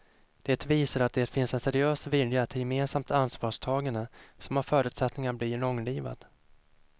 Det visar att det finns en seriös vilja till gemensamt ansvarstagande som har förutsättningar att bli långlivad.